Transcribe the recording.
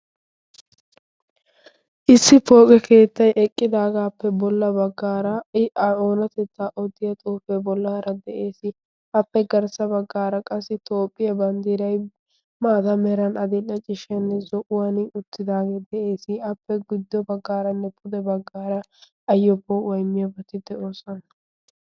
issi pooqe keettai eqqidaagaappe bolla baggaara i a oonatettaa oddiya xoofee bollaara de7ees. appe garssa baggaara qassi toophphiyaa banddiirai maata meran adiil7a cishshanne zo7uwan uttidaagee de7ees. appe guddo baggaaranne pude baggaara ayyoppoo waimmiyoobetti de'oosona.